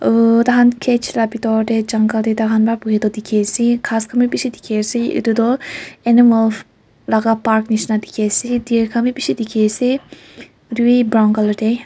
uuuh tai khan cage laga bitor te jungle te tai khan toh buhie toh dikhi ase ghas khan bi bishi dikhi ase itu toh animal laga park nishina dikhi ase deer khan bi bishi dikhi ase itu wi brown color te.